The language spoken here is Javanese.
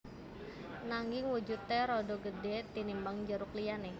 Nanging wujudé rada gedhé tinimbang jeruk liyané